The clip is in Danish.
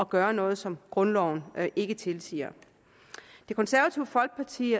gøre noget som grundloven ikke tilsiger det konservative folkeparti